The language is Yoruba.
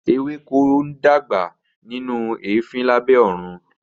Ewéko ń dàgbà nínú eefin lábẹ́ oòrùn